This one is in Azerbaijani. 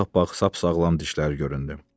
Ağappaq sap-sağlam dişlər göründü.